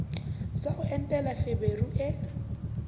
sa ho entela feberu e